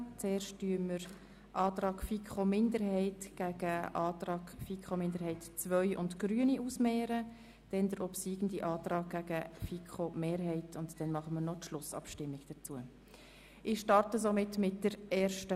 Zuerst stellen wir den Antrag der FiKo-Minderheit I dem Antrag der FiKo-Minderheit II und der Grünen gegenüber, dann den obsiegenden Antrag demjenigen der FiKo-Mehrheit, und zuletzt führen wir die Schlussabstimmung über das Ergebnis durch.